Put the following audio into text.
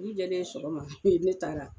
Dugu jɛlen sɔgɔma e ne taara